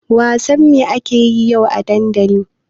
Wasan me akayi yau a dandali?